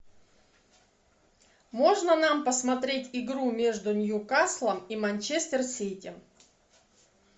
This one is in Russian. можно нам посмотреть игру между ньюкаслом и манчестер сити